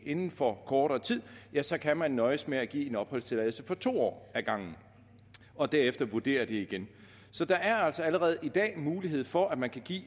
inden for kortere tid så kan man nøjes med at give en opholdstilladelse for to år ad gangen og derefter vurdere det igen så der er altså allerede i dag mulighed for at man kan give